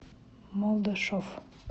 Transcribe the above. молдошов